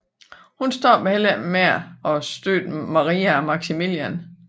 Hun stoppede heller ikke der med at støtte Maria og Maximilian